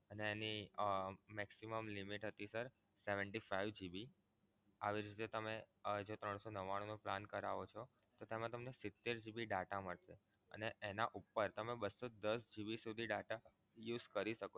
એની અમ maximum limit હતી sir seventy five GB આવી રીતે તમે આજે ત્રણ સો નવ્વાણું નો plan કરાવો છો તો તેમા તમને સિતેર GB data મળશે અને એના ઉપર તમે બસો દસ GB સુધી data use કરી શકો.